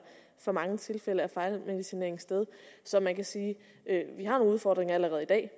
for mange tilfælde af fejlmedicinering sted så man kan sige at vi har nogle udfordringer allerede i dag